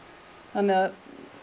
þannig að